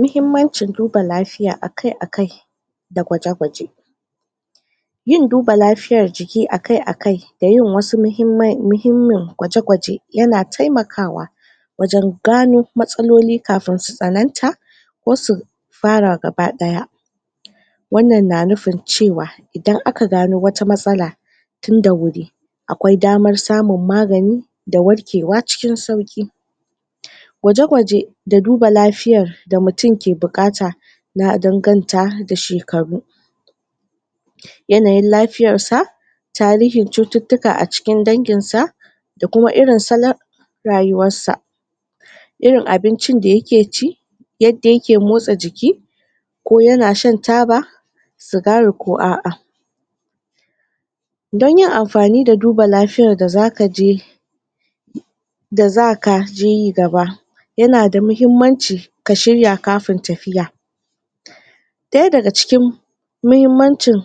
muhimmancin duba lafiya akai akai da gwaje gwaje yin duba lafiya jiki akai akai da yin wasui muhimmin gwaje gwaje yana taimakawa wajan gano matsaloli kafin su tsananta ko su fara gaba daya wannan na nufin cewa idan aka gano wata matsala tun da wuri aƙwai damar samun magani da warkewa cikin sauƙi gwaje gwaje da duba lafiyar da mutun ke buƙata na danganta da shekaru yanayin lafiyar sa tarihin cututtuka a cikin danginsa da kuma irin salan rayuwarsa irin abincin da yake ci yadda yake motsa jiki ko yana shan taba sigari ko a'a don yin amfani da duba lafiyar da zakaje da zakaje yi gaba yana da muhimmanci ka shirya kafin tafiya ɗaya daga cikin mahimmancin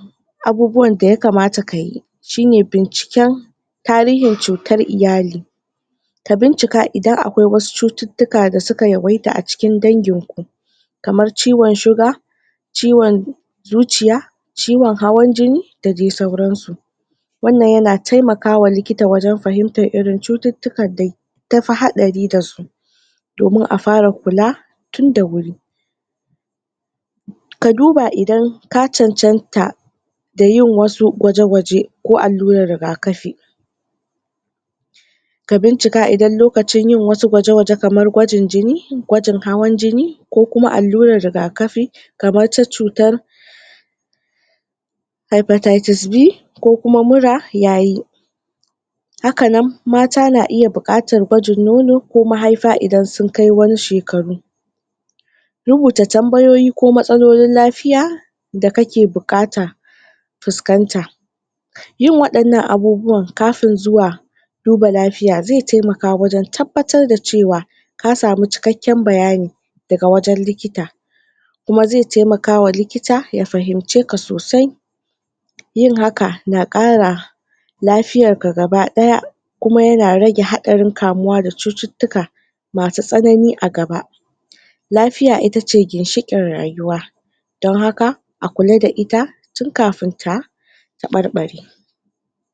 abubuwan da yakamata kayi shine binciken tarihin cutar iyali ka bincike idan aƙwai wasu cututtuka da suka yawaita a cikin danginku kamar ciwan sugar ciwan zuciya ciwan hawan jini da dai sauransu wannan yana taimakawa likita wajan fahimtar irin cututtukan da tafi haɗari dasu domin a fara kula tun da wuri ka duba idan ka cancanta da yin wasu gwaje gwaje ko allurar riga kafi ka bincika idan lokacin yin wasu gwaje gwaje kamar gwajin jini gwajin hawan jini ko kuma allurar riga kafi kamar ta cutar hypatatize B ko kuma mura yayi hakanan mata na iya buƙatar gwajin nono ko mahaifa idan sukai wasu shekaru rubuta tambayoyi ko matsalolin lafiya da kake buƙata fuskanta yin waɗannan abubuwan kafin zuwa duba lafiya zai taimaka wajan tabbatar da cewa ka samu cikakkyan bayani daga wajan likita kuma zai taimakawa likita ya fahimce ka sosai yin haka naƙara lafiyarka gaba ɗaya kuma yana rage haɗarin kamuwa da cututtuka masu tsanani a gaba lafiya itace ginshiƙin rayuwa don haka a kula da ita tun kafin ta taɓarɓare